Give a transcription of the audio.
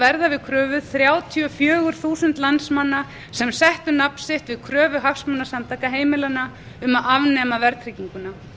verða við kröfu þrjátíu og fjögur þúsund landsmanna sem settu nafn sitt við kröfu hagsmunasamtaka heimilanna um að afnema verðtrygginguna